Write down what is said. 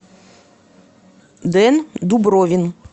дэн дубровин